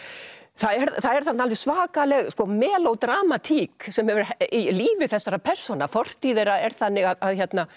það er þarna alveg svakaleg sem er í lífi þessara persóna fortíð þeirra er þannig að